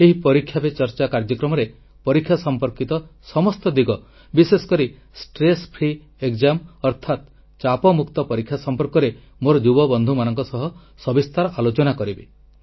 ଏହି ପରୀକ୍ଷା ପେ ଚର୍ଚ୍ଚା କାର୍ଯ୍ୟକ୍ରମରେ ପରୀକ୍ଷା ସମ୍ପର୍କିତ ସମସ୍ତ ଦିଗ ବିଶେଷ କରି ଚାପମୁକ୍ତ ପରୀକ୍ଷା ସଂପର୍କରେ ମୋର ଯୁବବନ୍ଧୁମାନଙ୍କ ସହ ସବିସ୍ତାର ଆଲୋଚନା କରିବି